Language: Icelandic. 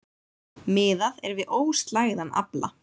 Miðað er við óslægðan afla